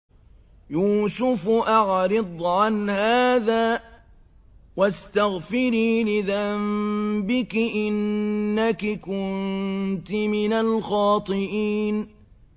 يُوسُفُ أَعْرِضْ عَنْ هَٰذَا ۚ وَاسْتَغْفِرِي لِذَنبِكِ ۖ إِنَّكِ كُنتِ مِنَ الْخَاطِئِينَ